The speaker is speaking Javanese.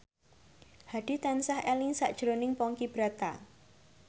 Hadi tansah eling sakjroning Ponky Brata